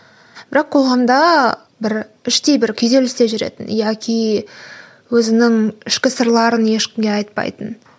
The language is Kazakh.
бірақ қоғамда бір іштей бір күйзелісте жүретін яки өзінің ішкі сырларын ешкімге айтпайтын